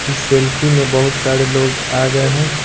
इस सेल्फी में बहुत सारे लोग आ गए हैं।